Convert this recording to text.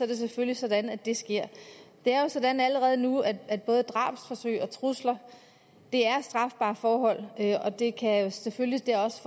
det selvfølgelig sådan at det sker det er jo sådan allerede nu at at både drabsforsøg og trusler er strafbare forhold og det kan selvfølgelig også